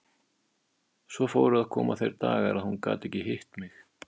Svo fóru að koma þeir dagar að hún gat ekki hitt mig.